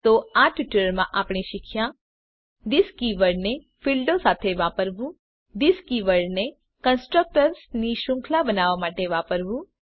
તો આ ટ્યુટોરીયલમાં આપણે શીખ્યા થિસ કીવર્ડને ફીલ્ડો સાથે વાપરવું થિસ કીવર્ડને કન્સ્ટ્રક્ટર્સ ની શૃંખલા બનાવવા માટે વાપરવું